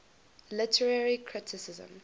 literary criticism